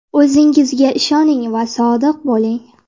O‘zingizga ishoning va sodiq bo‘ling.